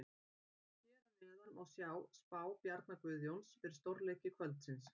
Hér að neðan má sjá spá Bjarna Guðjóns fyrir stórleiki kvöldsins.